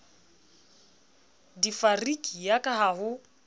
difariki ya ka ha ho